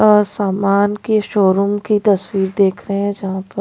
सामान के शोरूम की तस्वीर देख रहे हैं जहां पर--